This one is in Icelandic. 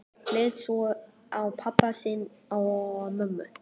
Leit svo á pabba sinn og mömmu.